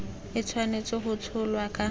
e tshwanetse go tsholwa ka